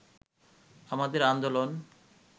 আমাদের আন্দোলন